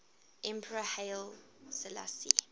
emperor haile selassie